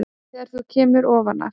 Þegar þú kemur ofan af